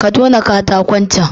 Ka tona katakon can